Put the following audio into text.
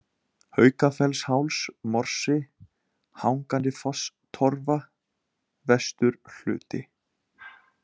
Haukafellsháls, Morsi, Hangandifosstorfa, Vesturhluti